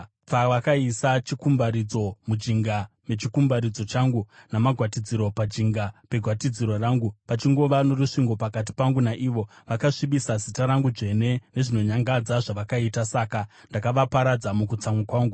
Pavakaisa chikumbaridzo mujinga mechikumbaridzo changu namagwatidziro pajinga pegwatidziro rangu pachingova norusvingo pakati pangu naivo, vakasvibisa zita rangu dzvene nezvinonyangadza zvavakaita. Saka ndakavaparadza mukutsamwa kwangu.